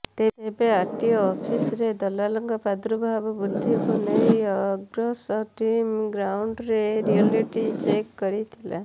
ତେବେ ଆରଟିଓ ଅଫସି୍ରେ ଦଲାଲଙ୍କ ପାର୍ଦ୍ଦୁଭାବ ବୃଦ୍ଧିକୁ ନେଇ ଅର୍ଗସ ଟିମ୍ ଗ୍ରାଉଣ୍ଡରେ ରିୟଲିଟି ଚେକ୍ କରିଥିଲା